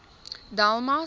delmas